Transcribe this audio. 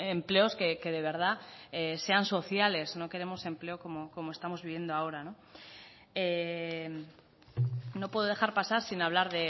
empleos que de verdad sean sociales no queremos empleo como estamos viviendo ahora no puedo dejar pasar sin hablar